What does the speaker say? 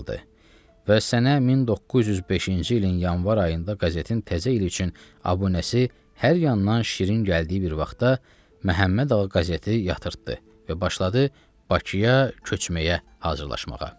Və sənə 1905-ci ilin yanvar ayında qazetin təzə il üçün abunəsi hər yandan şirin gəldiyi bir vaxtda Məhəmmədağa qazeti yatırtdı və başladı Bakıya köçməyə hazırlanmağa.